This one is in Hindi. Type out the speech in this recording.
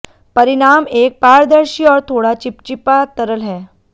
परिणाम एक पारदर्शी और थोड़ा चिपचिपा तरल है